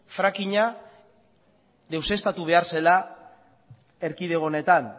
fracking a deuseztatu behar zela erkidego honetan